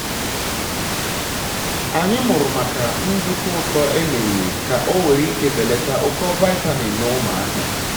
anyị mụrụ maka nduku ụtọ emeliri ka onwere ike belata ụkọ vaịtamini na ụmụaka